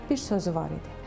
Bir sözü var idi.